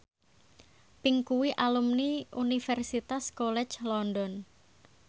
Pink kuwi alumni Universitas College London